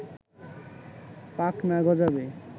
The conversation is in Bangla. পাখনা গজাবে